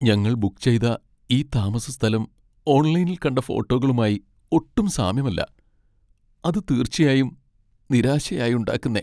ഞങ്ങൾ ബുക്ക് ചെയ്ത ഈ താമസസ്ഥലം ഓൺലൈനിൽ കണ്ട ഫോട്ടോകളുമായി ഒട്ടും സാമ്യമല്ല, അത് തീർച്ചയായും നിരാശയായുണ്ടാക്കുന്നേ.